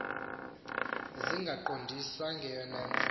zingaqondwa neyona ntsi